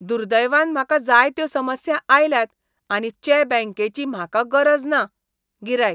दुर्दैवान म्हाका जायत्यो समस्या आयल्यात आनी चे बॅंकेची म्हाका गरज ना गिरायक